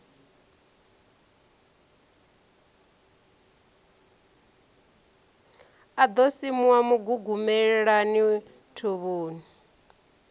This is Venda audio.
a ḓo simuwa mugugumelani thovhoni